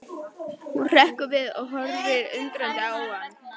Hún hrekkur við og horfir undrandi á hann.